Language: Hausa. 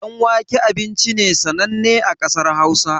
Ɗan wake abinci ne sananne a ƙasar hausa